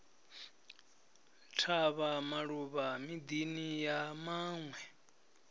tavha maluvha midini ya vhanwe